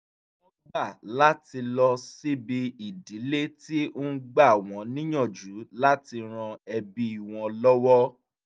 wọ́n gbà láti lọ síbi ìdílé tí ń gbà wọ́n níyànjú láti ran ẹbí wọn lọ́wọ́